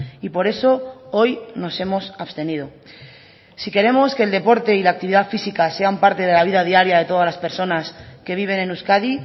y por eso hoy nos hemos abstenido si queremos que el deporte y la actividad física sean parte de la vida diaria de todas las personas que viven en euskadi